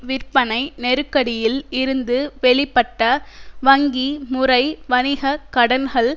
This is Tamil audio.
விற்பனை நெருக்கடியில் இருந்து வெளிப்பட்ட வங்கி முறை வணிக கடன்கள்